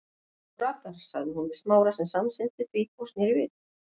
Þú ratar- sagði hún við Smára sem samsinnti því og sneri við.